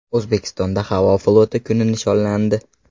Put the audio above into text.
O‘zbekistonda havo floti kuni nishonlandi.